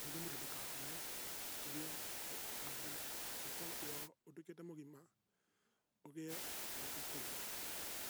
nĩguo mũtĩ ndũkahome kabla ũtuĩkĩte mũgima ũgĩe na irio cia kũrĩa.